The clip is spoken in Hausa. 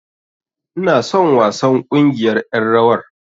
Ina son wasan ƙungiyar ƴan rawar.